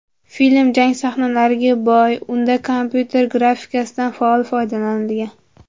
Film jang sahnalariga boy, unda kompyuter grafikasidan faol foydalanilgan.